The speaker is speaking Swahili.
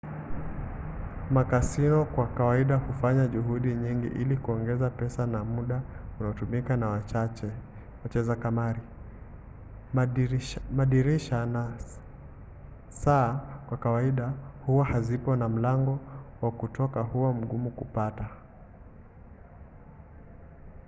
makasino kwa kawaida hufanya juhudi nyingi ili kuongeza pesa na muda unaotumika na wacheza kamari. madirisha na saa kwa kawaida huwa hazipo na mlango wa kutoka huwa mgumu kupata